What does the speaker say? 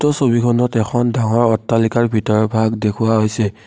এই ছবিখনত এখন ডাঙৰ অট্টালিকাৰ ভিতৰভাগ দেখুওৱা হৈছে।